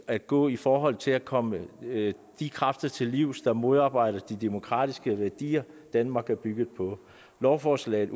at gå i forhold til at komme de kræfter til livs der modarbejder de demokratiske værdier som danmark bygger på lovforslaget